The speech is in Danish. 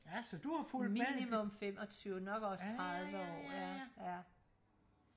ja så du har fulgt med ja ja ja ja ja